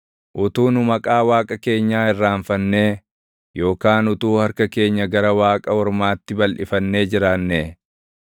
Utuu nu maqaa Waaqa keenyaa irraanfannee, yookaan utuu harka keenya gara waaqa ormaatti balʼifannee jiraannee,